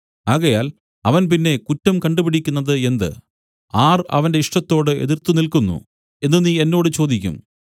ആകയാൽ അവൻ പിന്നെ കുറ്റം കണ്ടുപിടിക്കുന്നത് എന്ത് ആർ അവന്റെ ഇഷ്ടത്തോട് എതിർത്തുനില്ക്കുന്നു എന്നു നീ എന്നോട് ചോദിക്കും